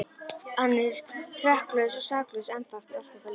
Hann er hrekklaus og saklaus ennþá, eftir allt þetta líf.